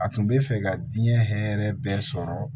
A tun bɛ fɛ ka diɲɛ hɛrɛ bɛɛ sɔrɔ